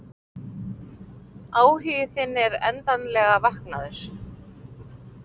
Áhugi þinn er endanlega vaknaður.